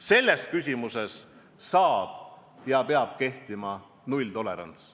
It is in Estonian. Selles küsimuses peab kehtima nulltolerants.